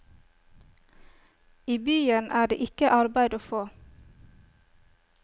I byen er det ikke arbeid å få.